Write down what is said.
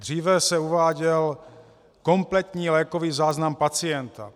Dříve se uváděl kompletní lékový záznam pacienta.